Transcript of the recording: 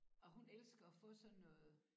Og hun elsker at få sådan noget